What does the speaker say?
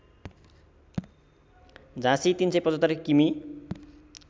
झाँसी ३७५ किमि